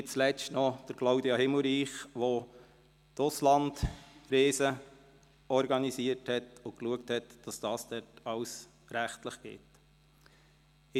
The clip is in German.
Nicht zuletzt danke ich Claudia Himmelreich, die die Auslandreisen organisiert und dafür gesorgt hat, dass alles rechtlich korrekt abläuft.